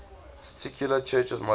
titular churches modified